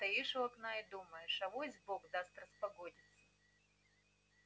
стоишь у окна и думаешь авось бог даст распогодится